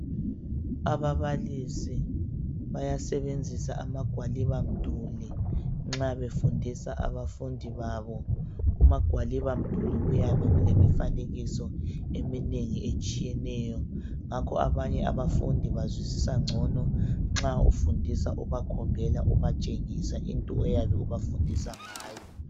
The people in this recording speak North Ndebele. Ababalisi bayasebenzisa amagwaliba mduli nxa befundisa abafundi babo. Kumagwaliba mduli kuyabe kulemifanekiso eminengi etshiyeneyo ngakho abanye abafundi bazwisisa ngcono nxa ufundisa ubakhombela ubatshengisa into oyabe ubafundisa ngayo.